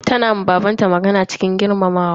Tana ma baban ta magana cikin girmamawa.